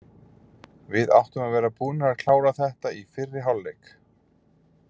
Við áttum að vera búnir að klára þetta í fyrri hálfleik.